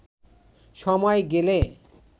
সময় গেলে